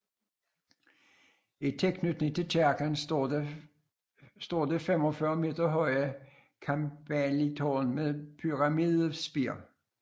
I tilknytning til kirken står det 45 meter høje campaniletårn med pyramidespir